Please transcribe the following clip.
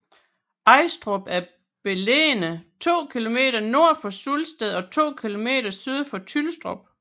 Ajstrup er beliggende to kilometer nord for Sulsted og to kilometer syd for Tylstrup